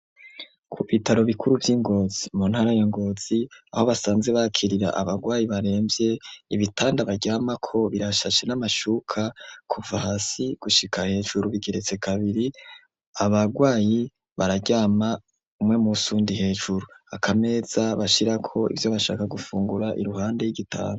ku bitaro bikuru vyi Ngotzi mu ntara ya Ngozi aho basanzwe bakirira abagwayi baremvye ibitanda baryamako birashashe n'amashuka kuva hasi gushika hejuru bigeretse kabiri abagwayi bararyama umwe musi uwundi hejuru akameza bashirako ivyo bashaka gufungura iruhande y'igitanda.